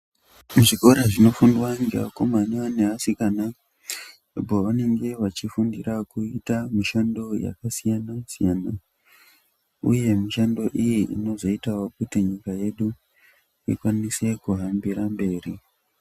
Muzvikora zvinofundwa nevakomana nevasikana pavanenge vachifundira kuita mishando yakasiyana-siyana uye mishando iyi inozoita wokuti nyika yedu ikwanise kuhambira mberi.